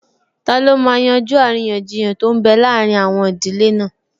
Taló máa yanjú àríyànjiyàn tó n bẹ láàrin àwọn ìdílé náà?